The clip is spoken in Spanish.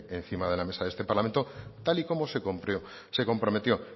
encima de la mesa de este parlamento tal y como se comprometió